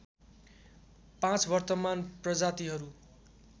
पाँच वर्तमान प्रजातिहरू